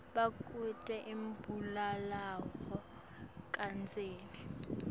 bekute umbulalave kadzeni